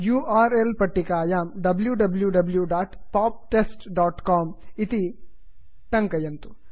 U R L पट्टिकायां wwwpoptestcom W W W dot pop test dot com इति टङ्कयन्तु